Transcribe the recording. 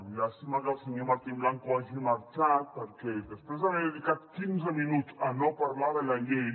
llàstima que el senyor martín blanco hagi marxat perquè després d’haver dedicat quinze minuts a no parlar de la llei